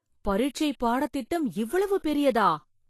பரீட்சை பாடத்திட்டம் இவ்வளவு பெரியதா